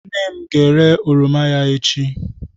Nne m ga-ere oroma ya echi.